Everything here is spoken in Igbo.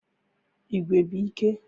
Igwe bụ ike